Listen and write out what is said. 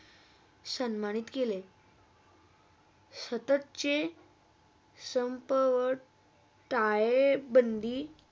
सन्मानीत केले स्तातचे संपवर टायेबंधी